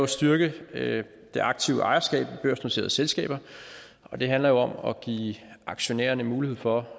styrke det aktive ejerskab i børsnoterede selskaber og det handler om at give aktionærerne mulighed for